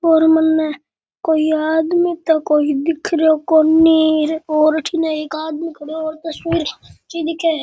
और मने कोई आदमी तो कोई दिख रहो कोणी और अठीने एक आदमी खड़यो और तस्वीर खींची दिखे है।